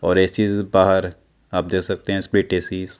और एक चीज बाहर आप दे सकते है स्प्लिट ऐसीस --